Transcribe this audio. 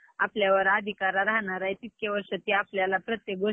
आम्हाला जास्त वेळ म्हणजे तिथें दोन तीन तास घालवायचे होते, कॉले~ शाळेला,